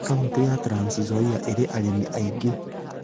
Kauti ya Transnzoia ĩrĩ arĩmi aingĩ